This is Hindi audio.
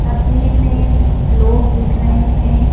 तस्वीर मेंलोग दिख रहे हैं।